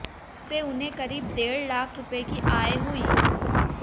इससे उन्हें करीब डेढ़ लाख रुपये की आय हुई